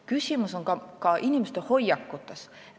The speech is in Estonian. Küsimus on ka inimeste hoiakutes.